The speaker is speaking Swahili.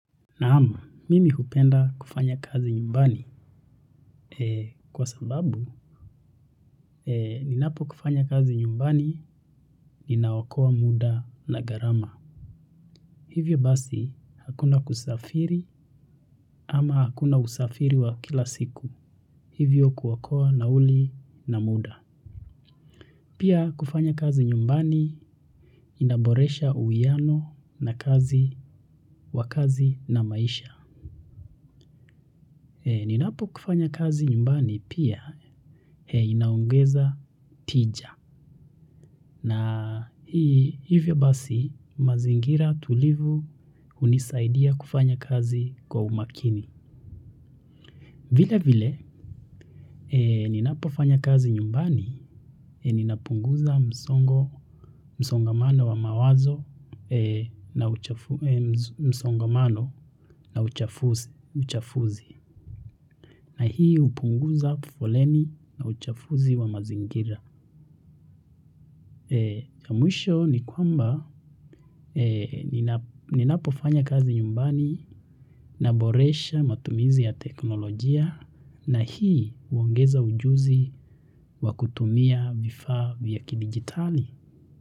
Naam, mimi hupenda kufanya kazi nyumbani kwa sababu ninapofanya kazi nyumbani inaokoa muda na gharama. Hivyo basi hakuna kusafiri ama hakuna usafiri wa kila siku. Hivyo kuokoa nauli na muda. Pia kufanya kazi nyumbani kunaboresha uwiano wa kazi na maisha. Ninapofanya kazi nyumbani pia inaongeza tija na hivyo basi mazingira tulivu hunisaidia kufanya kazi kwa umakini. Vile vile, ninapofanya kazi nyumbani ninapunguza msongamano wa mawazo na msongamano na uchafuzi na hii hupunguza foleni na uchafuzi wa mazingira. Mwisho ni kwamba ninapofanya kazi nyumbani naboresha matumizi ya teknolojia na hii huongeza ujuzi wa kutumia vifaa vya kidijitali.